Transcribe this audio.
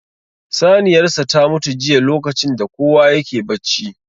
Saniyar sa ta mutu jiya lokacin da kowa yake bacci